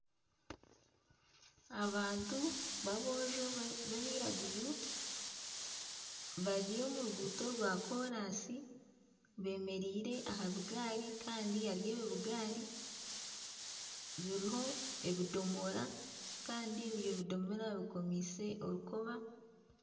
Abantu babojo b'abiraguju bari omu ruguuto rw'akoraasi bemereire aha bigaari kandi ebi bigaari biriho ebidomora kandi ebyo ebidomora bikomiise orukoba.